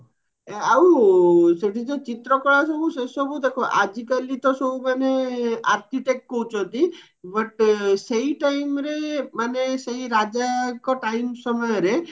ଆଉ ସେଠି ଯୋଉ ଚିତ୍ର କଳା ସବୁ ସେସବୁ ଦେଖା ଆଜି କାଲି ତ ସବୁ ମାନେ architect ହଉଚନ୍ତି but ସେଇ timeରେ ମାନେ ସେଇ ରାଜାଙ୍କ ଟାଇମ ସମୟରେ